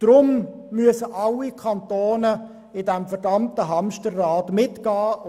Darum müssen alle Kantone in diesem verdammten Hamsterrad mitdrehen.